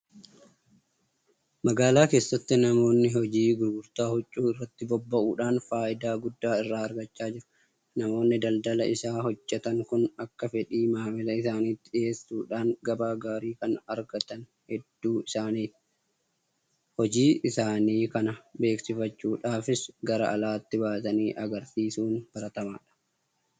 Magaalaa keessatti namoonni hojii gurgurtaa huccuu irratti bobba'uudhaan faayidaa guddaa irraa argachaa jiru. Namoonni daldala isaa hojjetan kun akka fedhii maamila isaaniitti dhiyeessuudhaan gabaa gaarii kan argatan hedduu isaaniiti. Hojii isaanii kana beeksifachuudhaafis gara alaatti baasanii agarsiisuun baratamaadha.